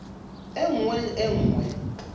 e nngwe le e nngwe